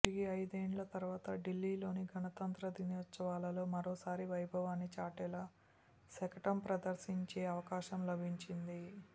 తిరిగి ఐదేండ్ల తరువాత ఢిల్లీలోని గణతంత్ర దినోత్సవాల్లో మరోసారి వైభవాన్ని చాటేలా శకటం ప్రదర్శించే అవకాశం లభించింది